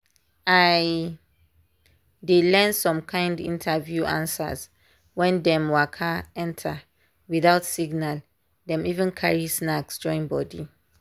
i dey learn some kind interview answers when dem waka enter without signal dem even carry snacks join body.